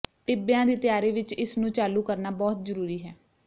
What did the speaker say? ਟਿੱਬਿਆਂ ਦੀ ਤਿਆਰੀ ਵਿਚ ਇਸ ਨੂੰ ਚਾਲੂ ਕਰਨਾ ਬਹੁਤ ਜ਼ਰੂਰੀ ਹੈ